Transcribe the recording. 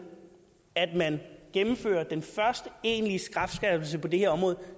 at man gennemfører den første egentlige strafskærpelse på det her område